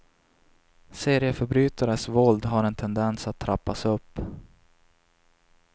Serieförbrytares våld har en tendens att trappas upp.